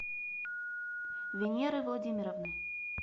венеры владимировны